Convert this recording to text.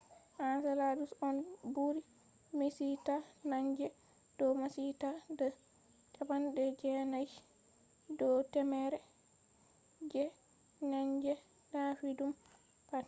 enceladus on ɓuri miccita naange do maccitaa de 90 do temere je naange taffiɗum pat